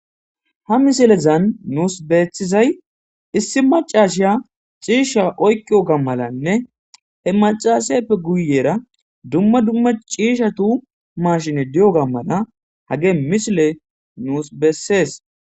Ha misilezan nuus beeththizay issi maccasiya ciishsha oyqqiyoga malanne he maccaaasepe guyyeera dumma dumma ciishathu maashinee diyoogaa mala hagee misilee nuus bessees.